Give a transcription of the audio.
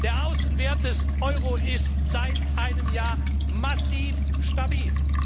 Der Außenwert des Euro ist seit einem Jahr massiv stabil.